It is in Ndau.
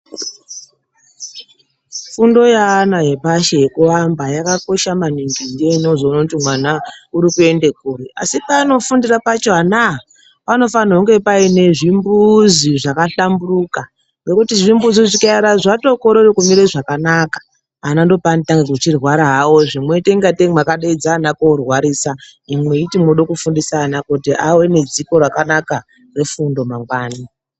Fundo yeana epashi yekuamba yakakosha maningi ndoinozoona kuti mwana uri kuende kuri asi paanofundira pacho ana aya panofanirwa kunge paine zvimbuzi zvakahlamburuka ngekuti zvimbuzi zvikaera zvatokorere kumire zvakanaka ana ndopaanotanga kuchirwara hawozve mwoite ngatei mwakadaidze ana korwarisa imwi mweiti mwoda kufundisa ana kuti ave nedziko rakanaka refundo mangwani.